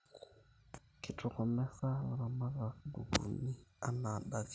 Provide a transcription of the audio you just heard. Kitokomeza ilaramatak guguin anaadake